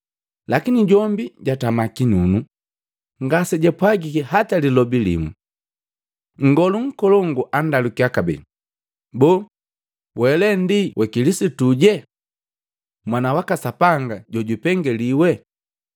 Lakini jombi jatama kinunu, ngasijapwagiki hata lilobi limu. Nngolu nkolongu andalukiya kabee, “Boo, wele ndi wa Kilisituje, Mwana waka Sapanga jojupengeliwi?”